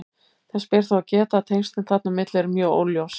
Þess ber þó að geta að tengslin þarna á milli eru mjög óljós.